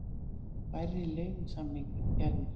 Færri leigusamningar gerðir